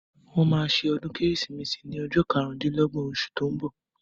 Wọ́n máa se ọdún kérésìmesì ní ọjọ́ karùndínlọ́gbọ̀n osù tó ń bọ̀